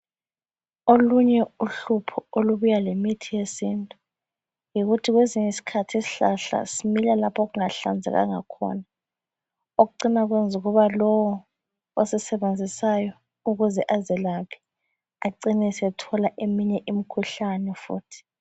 Ulonye uhlupho olubuya lemithi yesintu yikuthi kwezinye isikhathi isihlahla simila lapho okungahlanzekanga khona. Okokucina kuyenza lowu osisebenzisayo ukuze azelaphe ecine esethola eminye imikhuhlane futhi.